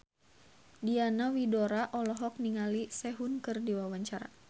Diana Widoera olohok ningali Sehun keur diwawancara